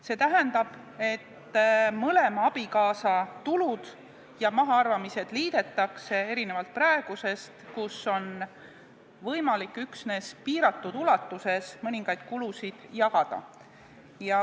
See tähendab, et mõlema abikaasa tulud ja mahaarvamised liidetakse, erinevalt praegusest, kui on võimalik üksnes piiratud ulatuses mõningaid kulusid jagada.